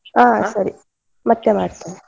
ಹಾ ಸರಿ, ಮತ್ತೆ ಮಾಡ್ತೆನೆ.